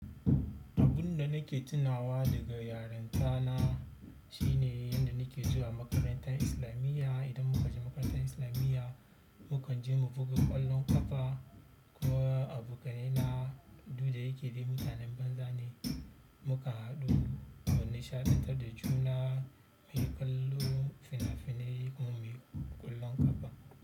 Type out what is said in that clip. Abun da nake tunawa daga yarinta na shine yadda nake zuwa makarantar islamiya. Idan muka je makarantar islamiya, mu kan je mu buga ƙwallon ƙafa. Ko abokanai na, duk da yake ldai mutanen banza ne. Muka haɗu mu nishaɗantar da juna, muyi kallo fina finai muyi ƙwallon ƙafa.